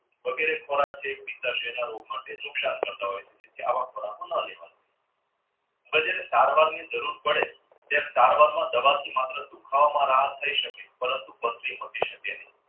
વગેરે ખોરાક છે એ નુકસાન કરતા હોય છે હવે છેને જરૂર પડે દવાથી માત્ર દુખાવામાં રાહત થઇ શકે પરંતુ પથરી મટી શકે નહીં